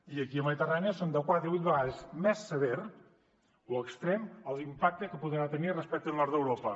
i aquí a la mediterrània serà de quatre a vuit vegades més sever l’impacte que podrà tenir respecte al nord d’europa